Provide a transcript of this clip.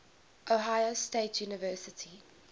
ohio state university